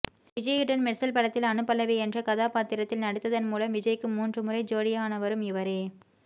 விஜய்யுடன் மெர்சல் படத்தில் அனு பல்லவி என்ற கதாபாத்திரத்தில் நடித்ததன் மூலம் விஜய்க்கு மூன்று முறை ஜோடியானவரும் இவரே